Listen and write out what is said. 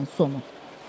Statın sonu.